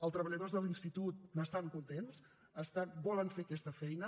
els treballadors de l’institut n’estan contents volen fer aquesta feina